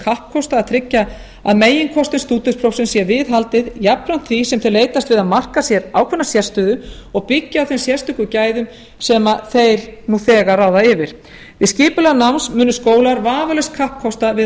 kappkosta að tryggja að meginkostum stúdentsprófsins sé viðhaldið jafnframt því sem þeir leitast við að marka sér ákveðna sérstöðu og byggja á þeim sérstöku gæðum sem þeir nú þegar ráða yfir við skipulag náms munu skólar vafalaust kappkosta að